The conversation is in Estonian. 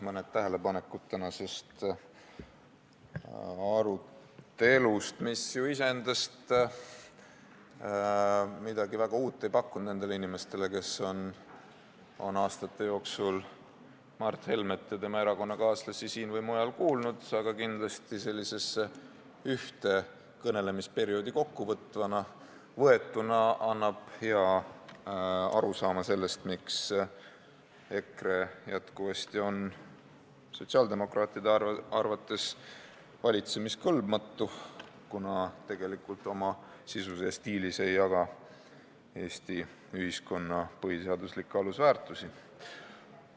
Mõni tähelepanek tänase arutelu kohta, mis ju iseendast ei pakkunud midagi väga uut nendele inimestele, kes on aastate jooksul Mart Helmet ja tema erakonnakaaslasi siin või mujal kuulnud, aga kindlasti sellisesse ühte kõnelemisperioodi kokkuvõetuna annab hea arusaama sellest, miks EKRE on sotsiaaldemokraatide arvates jätkuvasti valitsemiskõlbmatu, kuna tegelikult oma sisus ja stiilis ei jaga ta Eesti ühiskonna põhiseaduslikke alusväärtusi.